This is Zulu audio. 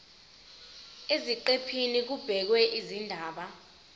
eziqephini kubhekwe izindaba